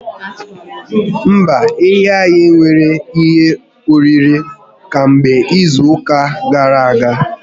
Mba, ehi anyị enweghi ihe oriri kamgbe izu ụka gara aga